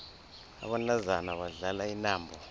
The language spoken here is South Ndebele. abantazana badlala intambo